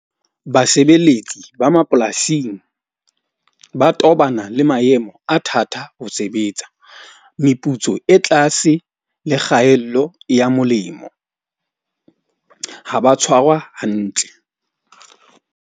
Basebeletsi ba mapolasing ba tobana le maemo a thata, ho sebetsa. Meputso e tlase le kgaello ya molemo. Ha ba tshwarwa hantle.